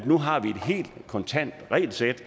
nu har et helt kontant regelsæt